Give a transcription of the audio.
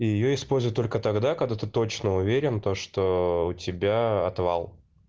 и её используют только тогда когда ты точно уверен то что у тебя отвал